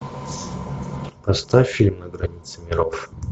поставь фильм на границе миров